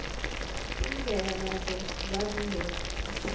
indlela nazo zazingekho